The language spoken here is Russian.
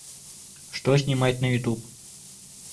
что снимать на ютуб